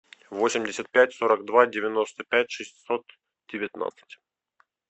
восемьдесят пять сорок два девяносто пять шестьсот девятнадцать